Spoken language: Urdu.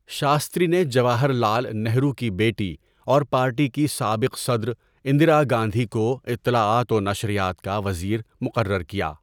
شاستری نے جواہر لعل نہرو کی بیٹی اور پارٹی کی سابق صدر، اندرا گاندھی کو اطلاعات و نشریات کا وزیر مقرر کیا۔